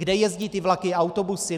Kde jezdí ty vlaky a autobusy?